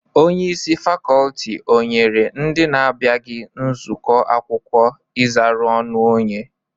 Onyeisi fakọltị o nyere ndị na abịaghi nzụkọ akwụkwọ ịzara ọnụ onye?